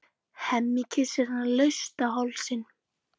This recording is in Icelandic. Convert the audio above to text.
Hemmi kyssir hana laust á hálsinn.